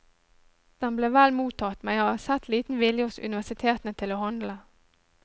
Den ble vel mottatt, men jeg har sett liten vilje hos universitetene til å handle.